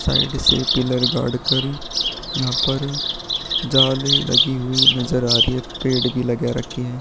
Side से pillar गाड़ कर यहाँ पर जाली लगी हुई नजर आ रही है पेड़ भी लगा रखे हैं।